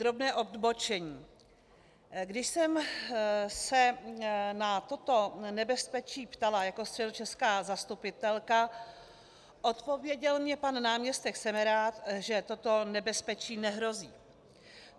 Drobné odbočení: Když jsem se na toto nebezpečí ptala jako středočeská zastupitelka, odpověděl mně pan náměstek Semerád, že toto nebezpečí nehrozí.